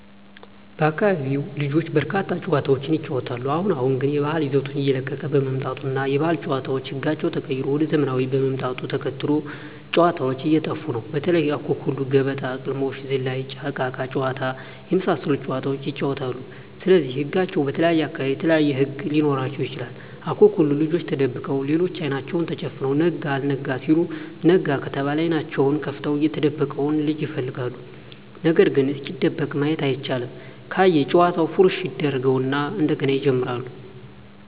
በአካቢው ልጆች በርካታ ጨዋታዎችን ይጫወታሉ አሁን አሁን ግን የባህል ይዘቱን እየለቀቀ በመምጣቱ እና የባህል ጨዋታዎች ህጋቸው ተቀይሮ ወደ ዘመናውያን ምጣቱን ተከትሎ ጨዎታዎች እየጠፉ ነው በተለይ:- አኩኩሉ ገበጣ: ቅልሞሽ ዝላይ እቃቃ ጨዎታ የመሣሠሉት ጨዋታዎች ይጫወታሉ ስለዚህ ህጋቸው በተለየየ አካባቢ የተለያዩ ህግ ሊኖራቸው ይችላል አኩኩሉ ልጆች ተደብቀው ሌሎች አይናቸውን ተጨፍነው ነጋ አልጋ ሲሉ ነጋ ከተባለ አይኔናቸውን ከፍተው የተደበቀውን ልጅ ይፈልጋሉ ነገርግ እስኪደበቅ ማየት አይቻልም ካየ ጨዋታውን ፉረሽ ያጀርገው እና እንደገና ይጀምራሉ።